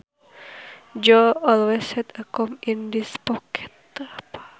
Joe always had a comb in his pocket